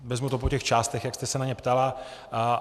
Vezmu to po těch částech, jak jste se na ně ptala.